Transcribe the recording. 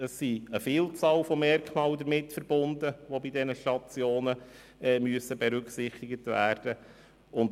Es sind eine Vielzahl von Merkmalen damit verbunden, die bei diesen Stationen berücksichtigt werden müssen.